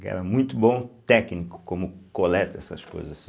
que era muito bom técnico, como coleta essas coisas assim.